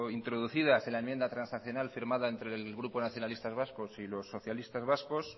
introducidas en la enmienda transaccional firmada entre el grupo nacionalistas vascos y los socialistas vascos